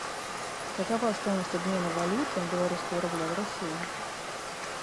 какова стоимость обмена валюты белорусского рубля в россии